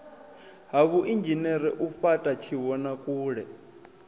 ha vhuinzhinere u fhata tshivhonakule